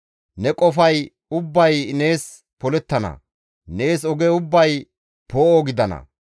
Ne qofay ubbay nees polettana; nees oge ubbay poo7o gidana.